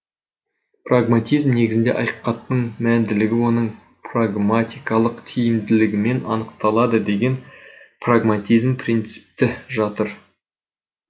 прагматизм негізінде ақиқаттың мәнділігі оның прагматикалық тиімділігімен анықталады деген прагматизм принципі жатыр